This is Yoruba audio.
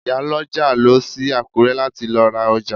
Ìyálọ́jà lọ sí Àkúrẹ́ láti lọ ra ọjà